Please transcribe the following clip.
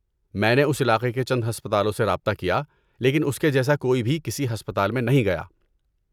میں نے اس علاقے کے چند ہسپتالوں سے رابطہ کیا لیکن اس کے جیسا کوئی بھی کسی ہسپتال میں نہیں گیا۔